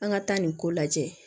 An ka taa nin ko lajɛ